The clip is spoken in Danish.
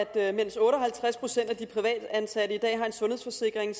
at mens otte og halvtreds procent af de privatansatte i dag har en sundhedsforsikring